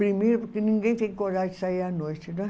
Primeiro porque ninguém tem coragem de sair à noite, né?